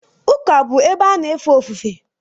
ụka bụ ebe a na efe ofufe